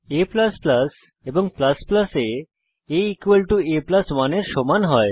a এবং আ a a 1 এর সমান হয়